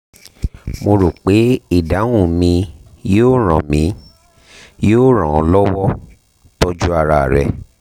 mo rò pé ìdáhùn mi yóò ràn mi yóò ràn ọ́ lọ́wọ́ tọ́jú ara rẹ